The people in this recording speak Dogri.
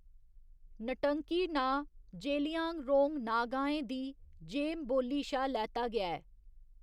न्टंकी' नांऽ जेलियांगरोंग नागाएं दी जेम बोल्ली शा लैता गेआ ऐ।